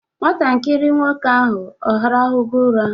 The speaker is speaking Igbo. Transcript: Nwatakiri nwoke ahụ ọ rahụgo ụra?